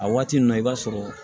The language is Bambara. A waati ninnu na i b'a sɔrɔ